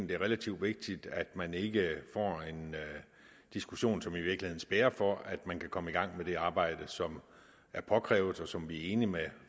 det er relativt vigtigt at man ikke får en diskussion som i virkeligheden spærrer for at man kan komme i gang med det arbejde som er påkrævet og som vi er enige med